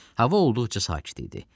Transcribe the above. Hava olduqca sakit idi.